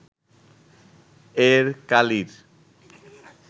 এর কালির